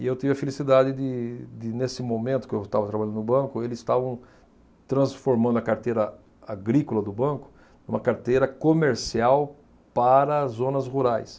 E eu tive a felicidade de, de nesse momento que eu estava trabalhando no banco, eles estavam transformando a carteira agrícola do banco em uma carteira comercial para zonas rurais.